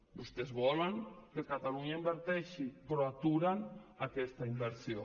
vostès volen que catalunya inverteixi però aturen aquesta inversió